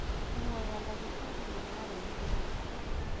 Nguo ya ndagĩtarĩ nĩyarehwo